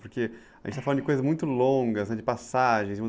Porque a gente está falando de coisas muito longas, de passagens.